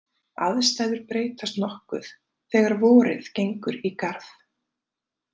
Aðstæður breytast nokkuð þegar vorið gengur í garð.